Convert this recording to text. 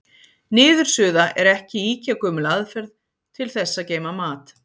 Niðursuða er ekki ýkja gömul aðferð til þess að geyma mat.